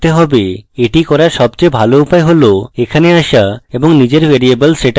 এটি করার সবচেয়ে ভালো উপায় হল এখানে আসা এবং নিজের ভ্যারিয়েবল setup করা